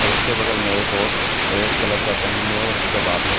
उसके बगल में एक और रेड कलर का पहनी है और उसका बाल है।